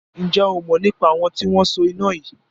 Ǹjẹ́ o mọ̀ nípa àwọn tí wọn so iná yìí?